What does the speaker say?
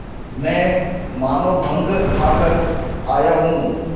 मैं मानों भंग खाकर आया हूँ